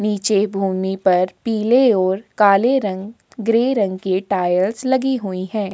नीचे भूमि पर पीले और काले रंग ग्रे रंग के टायर्स लगे हुए हैं।